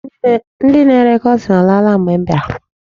Ndị na-ere kọtin alaala mgbe m biara.